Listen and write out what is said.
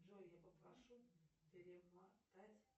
джой я попрошу перемотать